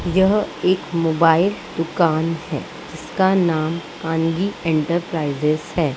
यह एक मोबाइल दुकान है जिसका नाम कन्वि एंटरप्राइजेज है।